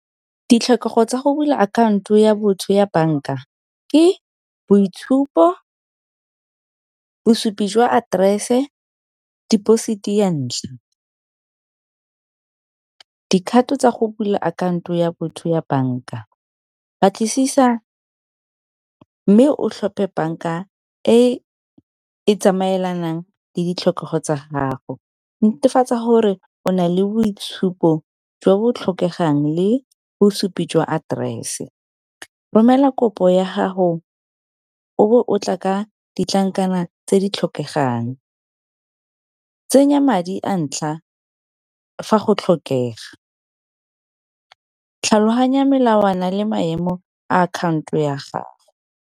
Ditlhokego tsa go bula akhaonto ya botho ya bank-a ke boitshupo, bosupi jwa aterese deposit ya ntlha. Dikgato tsa go bula akhaonto ya botho ya bank-a batlisisa mme o tlhophe bank-a e e tsamaelanang le ditlhokego tsa gago, netefatsa gore o na le boitshupo jwa bo tlhokegang le bosupi jwa aterese. Romela kopo ya haho o bo o tla ka ditlankana tse di tlhokegang, tsenya madi a ntlha fa go tlhokega tlhaloganya melawana le maemo a akhanto ya gago.